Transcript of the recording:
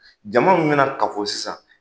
Jama min bɛna kafo sisan.